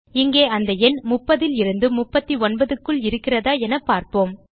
இங்கே அந்த எண் 30 லிருந்து 39 க்குள் இருக்கிறதா என பார்ப்போம்